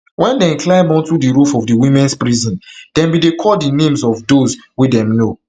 wen dem climb onto di roof of di womens prison dem be dey call di names of those wey dem know